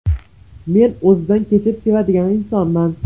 Men o‘zidan kechib, sevadigan insonman.